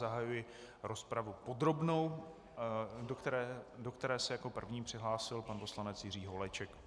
Zahajuji rozpravu podrobnou, do které se jako první přihlásil pan poslanec Jiří Holeček.